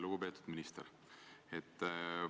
Lugupeetud minister!